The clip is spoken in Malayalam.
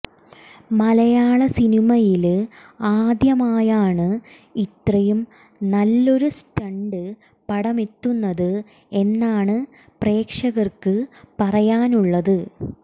മലയാള സിനിമയില് ആദ്യമായാണ് ഇത്രയും നല്ലൊരു സ്റ്റണ്ട് പടമെത്തുന്നത് എന്നാണ് പ്രേക്ഷകര്ക്ക് പറയാനുള്ളത്